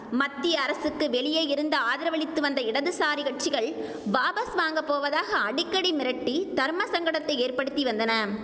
மத்திய அரசுக்கு வெளியே இருந்து ஆதரவளித்து வந்த இடதுசாரி கட்சிகள் வாபஸ் வாங்கப்போவதாக அடிக்கடி மிரட்டி தர்மசங்கடத்தை ஏற்படுத்தி வந்தன